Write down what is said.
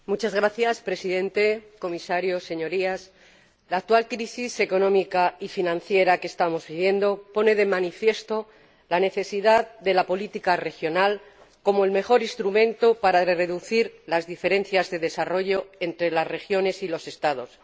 Señor Presidente, Señor Comisario, Señorías, la actual crisis económica y financiera que estamos viviendo pone de manifiesto la necesidad de la política regional como el mejor instrumento para reducir las diferencias de desarrollo entre las regiones y los Estados.